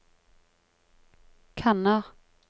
kanner